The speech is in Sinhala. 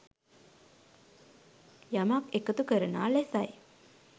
යමක් එකතු කරනා ලෙසයි.